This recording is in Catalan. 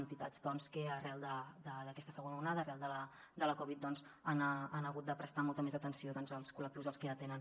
entitats que arran d’aquesta segona onada arran de la covid han hagut de prestar molta més atenció als col·lectius als que atenen